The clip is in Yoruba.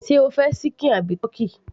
sé o fẹ́ ṣíkìn àbí ti